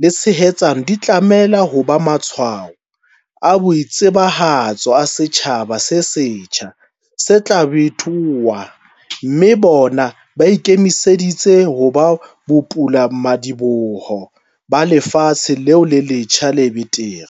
le tshehetsano di tlameha ho ba matshwao a boitsebahatso a setjhaba se setjha se tla bitoha, mme bona ba ikemiseditse ho ba bopulamadiboho ba lefatshe leo le letjha le betere.